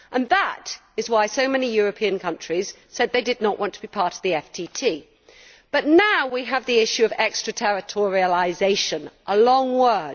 That is why so many European countries said they did not want to be part of the FTT. Now, however, we have the issue of extra territorialisation a long word.